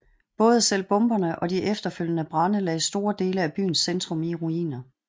Både selve bomberne og de efterfølgende brande lagde store dele af byens centrum i ruiner